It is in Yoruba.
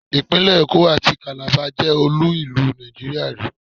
Ìpínlẹ̀ Èkó àti Kàlábá jẹ́ olú-ìlú Nàìjíríà rì í.